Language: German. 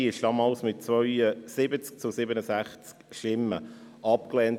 Sie wurde damals mit 70 zu 67 Stimmen abgelehnt.